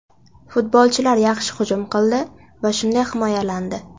Futbolchilar yaxshi hujum qildi va shunday himoyalandi.